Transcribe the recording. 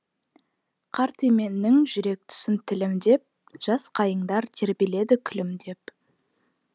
қарт еменнің жүрек тұсын тілімдеп жас қайыңдар тербеледі күлімдеп